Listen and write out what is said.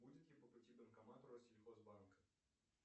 будет ли по пути банкомат россельхозбанка